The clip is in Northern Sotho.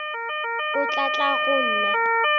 o tla tla go nna